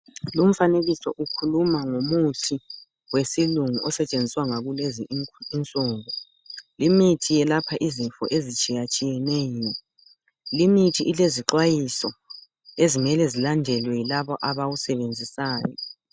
Lumfanekiso ukhuluma ngomuthi wesilungu osetshenziswa ngakulezi insuku limithi yelapha izifo ezitshiyatshiyeneyo limithi ilezixwayiso ezimele zilandelwe yilabo abawusebenzisayo.